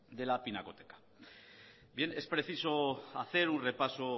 de la pinacoteca bien es preciso hacer un repaso